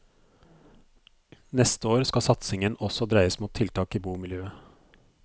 Neste år skal satsingen også dreies mot tiltak i bomiljøet.